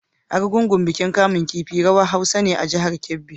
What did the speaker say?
Argungu bikin kamun kifi/rawar Hausa ne a jihar Kebbi.